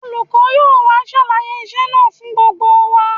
Olùkọ́ yóò wá ṣàlàyé iṣẹ́ náà fún gbogbo wa